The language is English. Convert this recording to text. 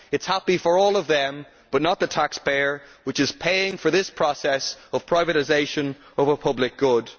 This is happy for all of them, but not for the taxpayer, who is paying for this process of privatisation over public good.